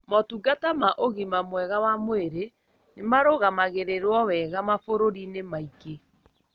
Motungata ma ũgima mwega wa mwĩrĩ nĩmarũgamagĩrĩrũo wega mabũrũrĩinĩ maingi.